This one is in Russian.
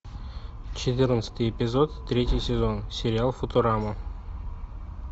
четырнадцатый эпизод третий сезон сериал футурама